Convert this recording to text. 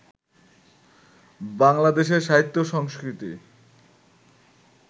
বাংলাদেশে সাহিত্য-সংস্কৃতি